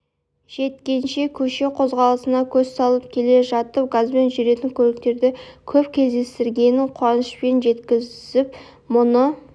жеткенше көше қозғалысына көз салып келе жатып газбен жүретін көліктерді көп кездестіргенін қуанышпен жеткізіп мұны